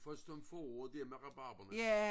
Først om foråret der med rabarberne